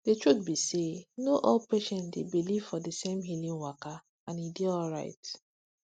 truth be say no all patients dey believe for di same healing waka and e dey alright